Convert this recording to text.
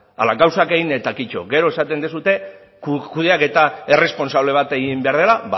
edo gauza egin eta kito gero esaten duzue kudeaketa erresponsable bat egin behar dela